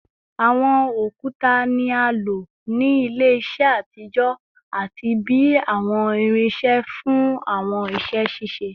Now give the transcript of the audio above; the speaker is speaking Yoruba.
Awọn okuta ni a lo ni ile-iṣọ atijọ ati bi awọn irinṣẹ fun awọn iṣẹ ṣiṣe